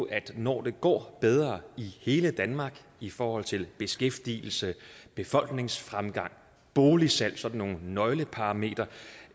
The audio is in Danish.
at når det går bedre i hele danmark i forhold til beskæftigelse befolkningsfremgang og boligsalg sådan nogle nøgleparametre